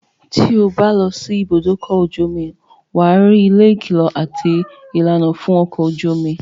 tí o bá lọ sí ìbùdókọ̀ ojú omi, wà á rí ilé ìkìlọ̀ àti ìlànà fún ọkọ̀ ojú omi.